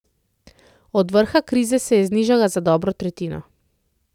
Od vrha krize se je znižala za dobro tretjino.